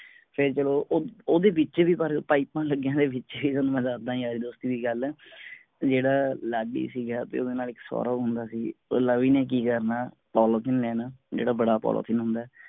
ਫੇਰ ਜਦੋਂ ਉਹ ਓਹਦੇ ਵਿਚ ਪਾਇਪਾਂ ਲੱਗਿਆਂ ਹੋਇਆਂ ਵਿਚ ਹੀ ਤੁਹਾਨੂੰ ਮੈਂ ਦਸਦਾ IELTS ਦੀ ਹੀ ਗੱਲ ਆ ਜਿਹੜਾ ਲਾਡੀ ਸੀਗਾ ਤੇ ਓਹਦੇ ਨਾਲ ਇੱਕ ਸੌਰਵ ਹੁੰਦਾ ਸੀ ਉਹ ਲਵੀ ਨੇ ਕਿ ਕਰਨਾ polythene ਲੈਣਾ ਜਿਹੜਾ ਬੜਾ polythene ਹੁੰਦਾ ਆ